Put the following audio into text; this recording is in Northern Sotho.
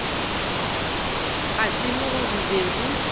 ga tsebo go be go